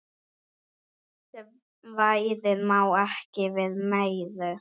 Svæðið má ekki við meiru.